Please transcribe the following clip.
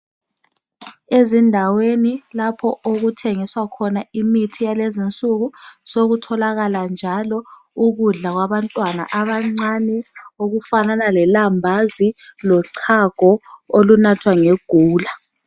Ezindaweni lapho okuthengiswa khona imithi yalezinsuku sokutholakala njalo ukudla kwabantwana abancane okufanana lelambazi lochago olunathwa ngegula